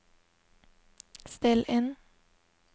still inn